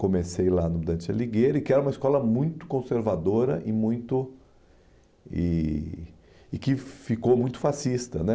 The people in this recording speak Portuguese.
Comecei lá no Dante Aligueira, que era uma escola muito conservadora e muito eh e que ficou muito fascista né